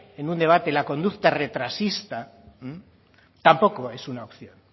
en un debate la conducta retrasista tampoco es una opción